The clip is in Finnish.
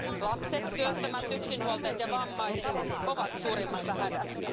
Lapset, työttömät, yksinhuoltajat ja vammaiset ovat suurimmassa hädässä.